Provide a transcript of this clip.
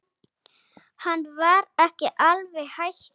Hann var ekki alveg hættur.